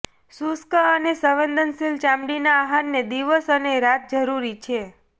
શુષ્ક અને સંવેદનશીલ ચામડીના આહારને દિવસ અને રાત જરૂરી છે